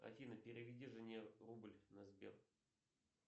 афина переведи жене рубль на сбер